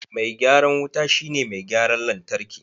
Mai gyaran wuta shi ne mai gyaran lantarki.